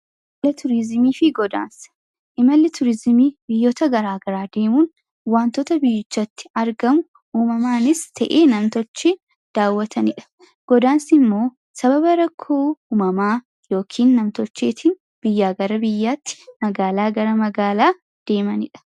Imala Turiizimii fi Godaansa: Imalli turiizimii biyyoota gara garaa deemuu fi wantoota biyyicatti argamu, uumamaanis ta'ee namtolchee daawwatanidha. Godaansi immoo sababa rakkoo uumamaa yookaan namtolcheetiin biyyaa gara biyya, magaalaa gara magaalaa adeemanidha.